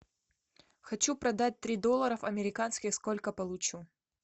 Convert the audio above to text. хочу продать три доллара американских сколько получу